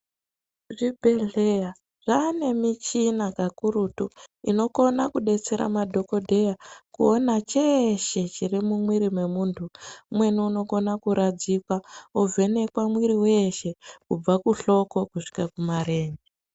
Zvibhedhleya zvaane michina kakurutu, inokona kudetsera madhokodheya, kuona cheeshe chiro mumwiri mwemuntu . Umweni unokona kuradzikwa, ovhenekwa mwiri weeshe ,kubva kuhloko kusvika kumarenje.